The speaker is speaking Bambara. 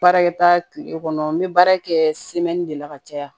Baarakɛta kile kɔnɔ n bɛ baara kɛ de la ka caya